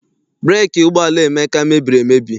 Breeki ụgbọala Emeka mebiri emebi.